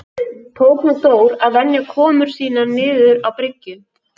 Tók nú Dór að venja komur sínar niður á bryggju.